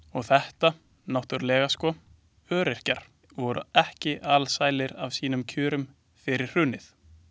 Og þetta náttúrulega sko, öryrkjar voru ekki alsælir af sínum kjörum fyrir hrunið.